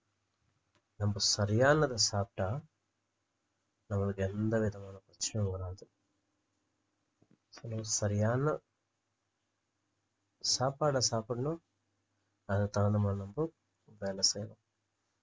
நம்ப சரியானதை சாப்பிட்டா நம்மளுக்கு எந்தவிதமான பிரச்சனையும் வராது சரியான சாப்பாட சாப்பிடணும் அதுக்கு தகுந்த மாதிரி நம்ப வேலை செய்யணும்